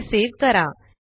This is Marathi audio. हे सेव्ह करा